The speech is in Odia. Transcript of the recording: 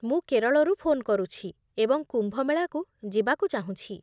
ମୁଁ କେରଳରୁ ଫୋନ୍ କରୁଛି ଏବଂ କୁମ୍ଭମେଳାକୁ ଯିବାକୁ ଚାହୁଁଛି।